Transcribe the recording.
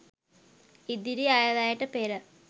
ඉදිරි අයවැයට පෙර